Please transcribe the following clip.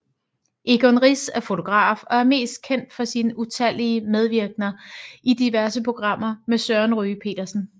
Egon Rix er fotograf og er mest kendt for sine utallige medvirkener i diverse programmer med Søren Ryge Petersen